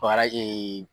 Bakara ee